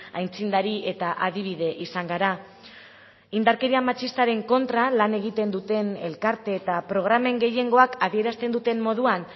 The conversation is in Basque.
aitzindari eta adibide izan gara indarkeria matxistaren kontra lan egiten duten elkarte eta programen gehiengoak adierazten duten moduan